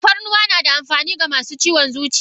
Tafarnuwa nada amfani ga masu ciwon zuciya?